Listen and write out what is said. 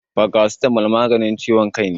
Farasitamo maganin ciwon kai ne